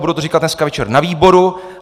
Budu to říkat dneska večer na výboru.